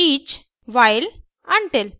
for each